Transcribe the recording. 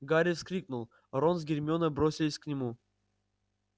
гарри вскрикнул рон с гермионой бросились к нему